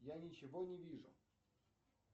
я ничего не вижу